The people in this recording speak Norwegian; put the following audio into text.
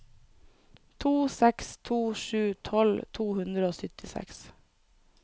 to seks to sju tolv to hundre og syttiseks